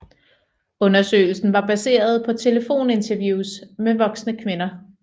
Undersøgelsen var baseret på telefoninterviews med voksne kvinder